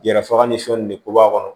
Yɛrɛ faga ni sɔni de ko b'a kɔnɔ